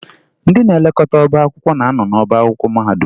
Ndị na-elekọta ọbá akwụkwọ na-anọ n'ọbá akwụkwọ mahadum